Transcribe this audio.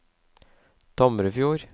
Tomrefjord